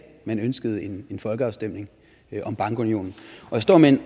man ønskede en folkeafstemning om bankunionen jeg står med